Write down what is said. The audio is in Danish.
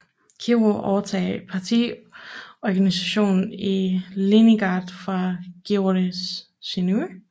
Kirov overtog partiorganisationen i Leningrad fra Grigorij Sinovjev